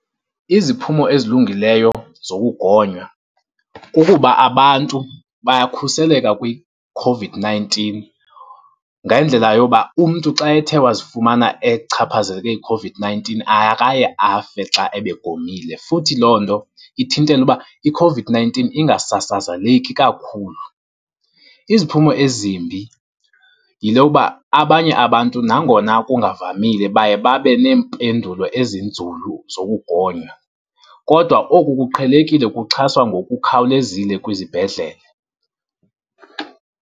Iziphumo ezilungileyo zokugonywa, kukuba abantu bayakhuseleka kwiCOVID-nineteen ngendlela yoba umntu xa ethe wazifumana echaphazeleke yiCOVID-nineteen, akaye afe xa ebegomile. Futhi loo nto ithintela uba iCOVID-nineteen ingasasazeleki kakhulu. Iziphumo ezimbi yile yokuba abanye abantu nangona kungavamile baye babe neempendulo ezinzulu zokugonywa. Kodwa oku kuqhelekile, kuxhaswa ngokukhawulezile kwizibhedlele.